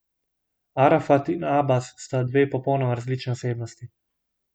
Arafat in Abas sta dve popolnoma različni osebnosti.